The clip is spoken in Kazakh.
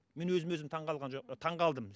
мен өзіме өзім таңғалған жоқ таңғалдым